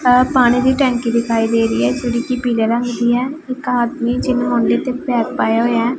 ਆਹ ਪਾਣੀ ਦੀ ਟੈਂਕੀ ਦਿਖਾਈ ਦੇ ਰਹੀ ਹੈ ਜਿਹੜੀ ਕੀ ਪੀਲੇ ਰੰਗ ਦੀ ਹੈ ਇੱਕ ਆਦਮੀ ਜਿਹਨੇਂ ਮੋਡੇ ਤੇ ਬੈਗ ਪਾਇਆ ਹੋਇਆ ਹੈ।